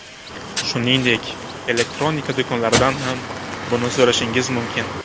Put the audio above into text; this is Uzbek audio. Shuningdek, elektronika do‘konlaridan ham buni so‘rashingiz mumkin.